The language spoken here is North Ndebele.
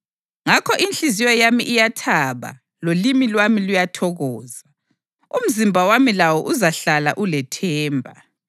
Ngakho inhliziyo yami iyathaba lolimi lwami luyathokoza; umzimba wami lawo uzahlala ulethemba,